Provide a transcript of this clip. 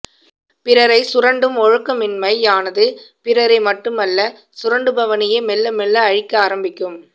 பிறரைச் சுரண்டும் ஒழுக்கமின்மையானது பிறரை மட்டுமல்ல சுரண்டுபவனையே மெல்லமெல்ல அழிக்க ஆரம்பிக்கும்